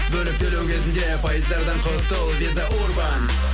бөліп төлеу кезінде пайыздардан құтыл виза урбан